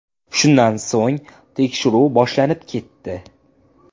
Shundan so‘ng tekshiruv boshlanib ketdi.